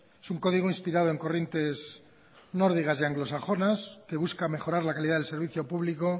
es un código inspirado en corrientes nórdicas y anglosajonas que busca mejorar la calidad del servicio público